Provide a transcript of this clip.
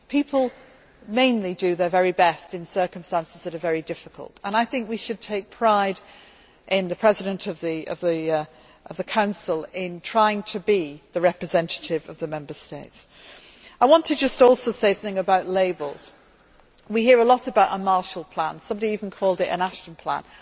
People mainly do their very best in circumstances that are very difficult, and I think we should take pride in the President of the Council trying to be the representative of the Member States. I want to just also say something about labels. We hear a lot about a Marshall Plan somebody even called it an Ashton Plan.